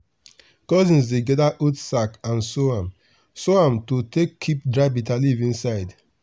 cousins dey gather old sack and sew am sew am to take keep dry bitterleaf inside.